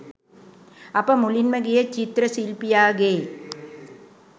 අප මුලින්ම ගියේ චිත්‍ර ශිල්පියාගේ